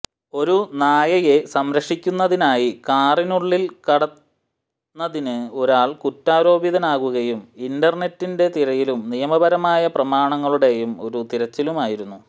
ഒരു നായയെ സംരക്ഷിക്കുന്നതിനായി കാറിനുള്ളിൽ കടന്നതിന് ഒരാൾ കുറ്റാരോപിതനാകുകയും ഇന്റർനെറ്റിന്റെ തിരയലും നിയമപരമായ പ്രമാണങ്ങളുടെ ഒരു തിരച്ചിലുമായിരുന്നു